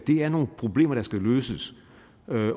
det er nogle problemer der skal løses